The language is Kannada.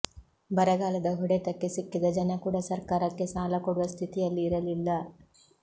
ಬರಗಾಲದ ಹೊಡೆತಕ್ಕೆ ಸಿಕ್ಕಿದ ಜನ ಕೂಡ ಸರ್ಕಾರಕ್ಕೆ ಸಾಲಕೊಡುವ ಸ್ಥಿತಿಯಲ್ಲಿ ಇರಲಿಲ್ಲ